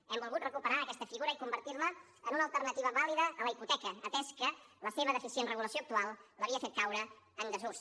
hem volgut recuperar aquesta figura i convertir la en una alternativa vàlida a la hipoteca atès que la seva deficient regulació actual l’havia fet caure en desús